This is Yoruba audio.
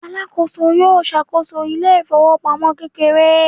alakoso yíò ṣàkóso ile ifowopamọ kekere